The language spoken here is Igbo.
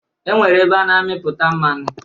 E nwere ebe na-amịpụta mmanụ